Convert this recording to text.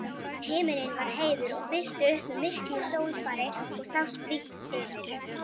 Himinn var heiður og birti upp með miklu sólfari og sást vítt yfir.